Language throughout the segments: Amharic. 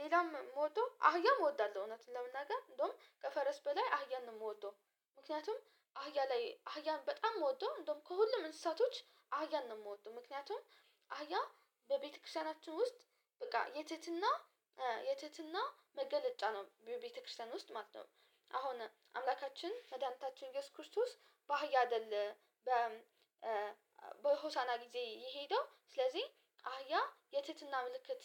ሌላም የምወደው አህያም እወዳለሁ እውነቱን ለመናገር እንደውም ከፈረስ በላይ አህያን የምወደው ምክንያቱም አህያ ላይ አህያን በጣም የምወደው እንደውም ከሁሉም እንስሳቶች አህያን ነው የምወደው። ምክንያቱም አህያ በቤተክርስቲያናችን ውስጥ በቃ የትህትና የትህትና መገለጫ ነው ቤተክርስቲያን ውስጥ ማለት ነው። አሁን አምላካችን መድኃኒታችን ኢየሱስ ክርስቶስ በአህያ አይደለ በሆሳና ጊዜ የሄደው ስለዚህ አህያ የትህትና ምልክት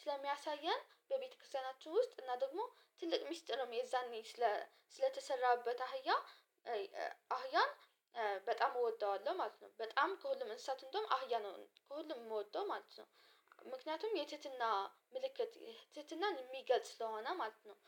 ስለሚያሳየን በቤተክርስቲያናችን ውስጥ እና ደግሞ ትልቅ ሚስጥርም የዛኔ ስለተሰራበት አህያ አህያን በጣም እወደዋለሁ ማለት ነው፤። በጣም ከሁሉም እንስሳት እንደውም አህያ ነው ከሁሉም የምወደው ማለት ነው። ምክንያቱም የትህትና ምልክት ትህትናን የሚገልጽ ስለሆነ ማለት ነው፤።